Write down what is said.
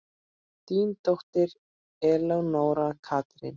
Þín dóttir, Elenóra Katrín.